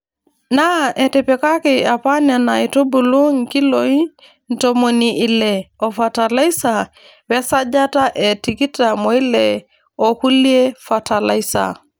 Naa etipikaki apa Nena aitubulu nkiloi ntomoni Ile oo fatalaisa we sajata e tikitam oile oo nkulie fatalaisa.